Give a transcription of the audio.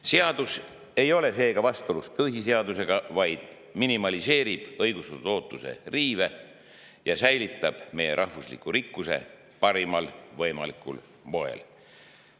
Seadus ei ole seega vastuolus põhiseadusega, vaid minimaliseerib ootuse riive ja säilitab meie rahvusliku rikkuse parimal võimalikul moel.